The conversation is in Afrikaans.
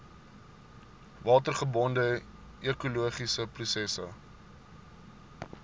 watergebonde ekologiese prosesse